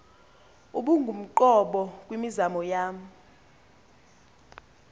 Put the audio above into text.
ubungumqobo kwimizamo yam